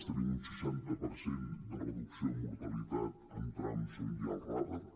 tenim un seixanta per cent de reducció de mortalitat en trams on hi ha els radars